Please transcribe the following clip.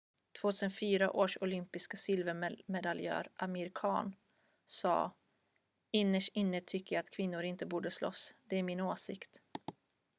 "2004 års olympiska silvermedaljör amir khan sa "innerst inne tycker jag att kvinnor inte borde slåss. det är min åsikt.""